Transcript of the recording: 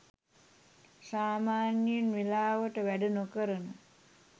සාමාන්‍යයෙන් වෙලාවට වැඩ නොකරන